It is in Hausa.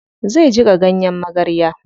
Zai jiƙa ganyen magarya.